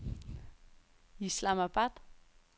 Islamabad